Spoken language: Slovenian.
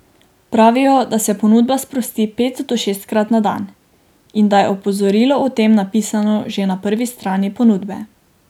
Pravijo, da se ponudba sprosti pet do šestkrat na dan in da je opozorilo o tem napisano že na prvi strani ponudbe.